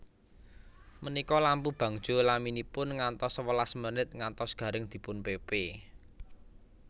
Menika lampu bangjo laminipun ngantos sewelas menit ngantos garing dipunpepe